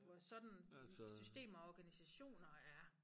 Vores sådan systemer og organisationer er